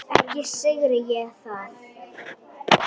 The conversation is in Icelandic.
Ekki syrgi ég það.